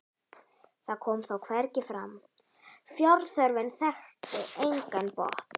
það kom þó hvergi fram: fjárþörfin þekkti engan botn.